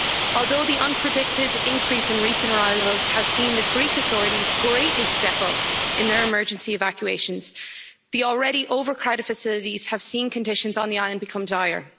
Although the unpredicted increase in recent arrivals has seen the Greek authorities greatly step up in their emergency evacuations, the already overcrowded facilities have seen conditions on the island become dire.